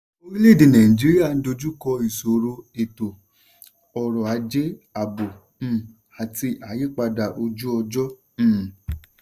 "orílẹ̀èdè nàìjíríà dojú kọ ìṣòro ètò-ọrọ̀ ajé ààbò um àti àyípadà ojú-ọjọ́." um